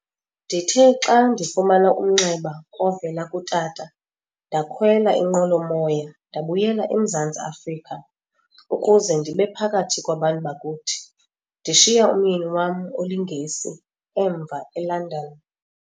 Ndithe xa ndifumana umnxeba ovela kutata, ndakhwela inqwelo-moya ndabuyela eMzantsi Afrika ukuze ndibephakathi kwabantu bakuthi, ndishiya umyeni wam oliNgesi emva eLondon.